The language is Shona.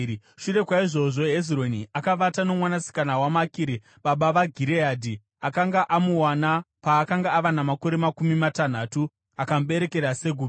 Shure kwaizvozvo, Hezironi akavata nomwanasikana waMakiri baba vaGireadhi; akanga amuwana paakanga ava namakore makumi matanhatu; akamuberekera Segubhi.